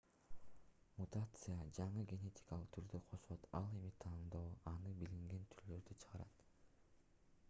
мутация жаңы генетикалык түрдү кошот ал эми тандоо аны билинген түрлөрдөн чыгарат